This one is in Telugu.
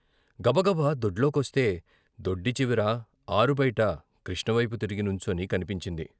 గబగబా దొడ్లోకొస్తే దొడ్డి చివర ఆరుబయట కృష్ణవైపు తిరిగి నుంచుని కన్పించింది.